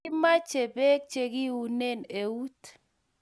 Kimache peek che kiunen out